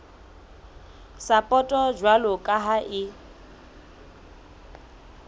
sapoto jwalo ka ha e